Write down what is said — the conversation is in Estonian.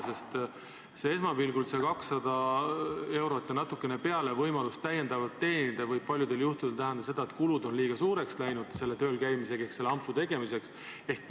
Sest esmapilgul see võimalus 200 eurot ja natuke peale lisaraha teenida võib paljudel juhtudel tähendada seda, et kulud lähevad selle töölkäimisega ehk selle ampsu tegemisega liiga suureks.